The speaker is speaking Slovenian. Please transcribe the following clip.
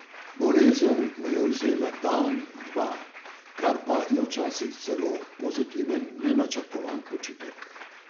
Bolezen mu je vzela dan, dva, kar pa je včasih celo pozitiven nenačrtovan počitek.